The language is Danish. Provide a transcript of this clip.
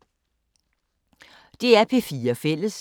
DR P4 Fælles